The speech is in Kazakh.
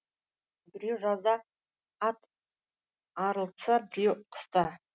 біреу жазда ат арылтса біреу қыста